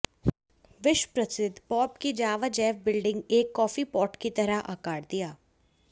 विश्व प्रसिद्ध बॉब की जावा जैव बिल्डिंग एक कॉफी पॉट की तरह आकार दिया